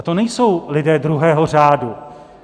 A to nejsou lidé druhého řádu.